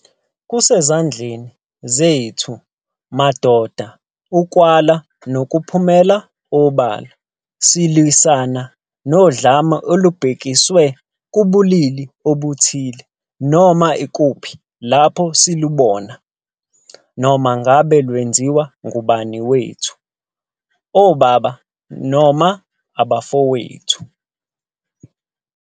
Kusezandleni zethu madoda ukwala nokuphumela obala silwisana nodlame olubhekiswe kubulili obuthile noma ikuphi lapho silubona, noma ngabe lwenziwa ngumngani wethu, obaba noma abafowethu.